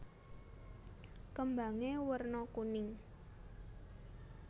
Kembangé werna kuning